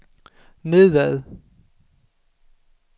nedad